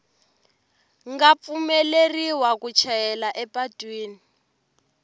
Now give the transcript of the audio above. nga pfumeleriwa ku chayeriwa epatwini